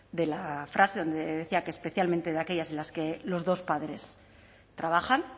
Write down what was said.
de la frase donde decía que especialmente de aquellas en las que los dos padres trabajan